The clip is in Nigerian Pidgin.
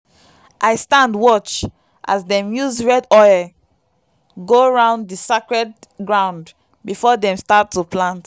i stand watch as dem use red oil go round the sacred ground before dem start to plant.